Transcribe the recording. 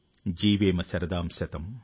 జీవేం శరదః శతం|